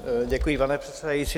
Děkuji, pane předsedající.